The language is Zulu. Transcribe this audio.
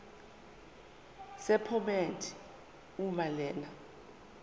sephomedi uma lena